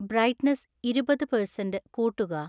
brightness ഇരുപത് percent കൂട്ടുക